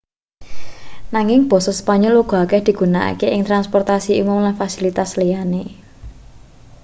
nanging basa spanyol uga akeh digunakake ing transportasi umum lan fasilitas liyane